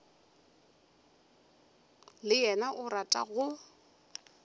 le yena o rata go